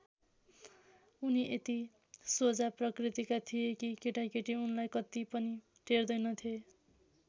उनी यति सोझा प्रकृतिका थिए कि केटाकेटी उनलाई कत्ति पनि टेर्दैनथे।